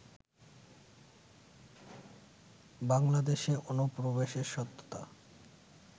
বাংলাদেশে অনুপ্রবেশের সত্যতা